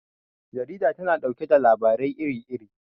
Jarida tana ɗauke da labarai iri iri.